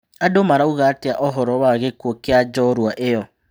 Andũ marauga atĩ a ũhoro wa gĩ kuũ kĩ a njorua ĩ yo?